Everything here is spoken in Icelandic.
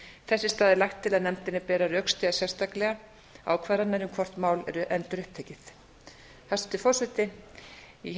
þess í stað er lagt til að nefndinni beri að rökstyðja sérstaklega ákvarðanir um hvort mál eru endurupptekið hæstvirtur forseti ég hef